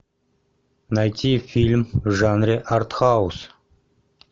найти фильм в жанре артхаус